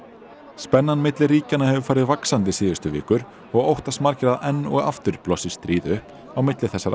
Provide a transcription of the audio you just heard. spennan milli ríkjanna hefur farið vaxandi síðustu vikur og óttast margir að enn og aftur blossi stríð upp á milli þessara